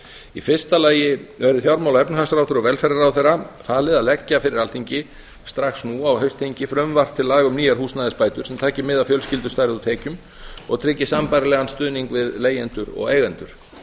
í fyrsta lagi verði fjármála og efnahagsráðherra og velferðarráðherra falið að leggja fyrir alþingi strax nú á haustþingi frumvarp til laga um nýjar húsnæðisbætur sem taki mið af fjölskyldustærð og tekjum og tryggi sambærilegan stuðning við leigjendur og eigendur